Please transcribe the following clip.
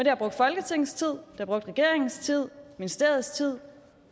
har brugt folketingets tid har brugt regeringens tid ministeriets tid